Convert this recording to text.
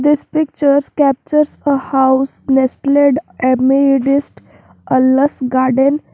This picture captures a house nestled a lush garden.